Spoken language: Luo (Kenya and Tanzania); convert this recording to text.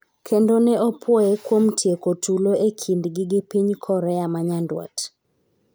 kendo ne opuoye kuom tieko tulo e kindgi gi piny Korea ma nyandwat